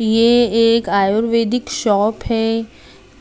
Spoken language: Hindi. ये एक आयुर्वेदिक शॉप है